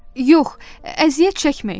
Yox, əziyyət çəkməyin.